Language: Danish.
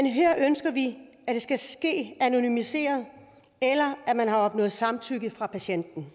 her ønsker vi at det skal ske anonymiseret eller at man har opnået samtykke fra patienten